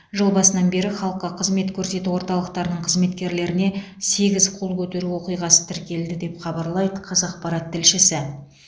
жыл басынан бері халыққа қызмет көрсету орталықтарының қызметкерлеріне сегіз қол көтеру оқиғасы тіркелді деп хабарлайды қазақпарат тілшісі